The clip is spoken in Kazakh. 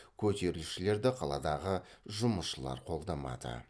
көтерілісшілерді қаладағы жұмысшылар қолдамады